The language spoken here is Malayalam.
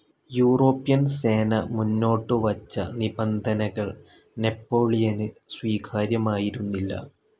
യൂറോപ്യൻ സേന മുന്നോട്ടുവച്ച നിബന്ധനകൾ നെപ്പോളിയന് സ്വീകാര്യമായിരുന്നില്ല.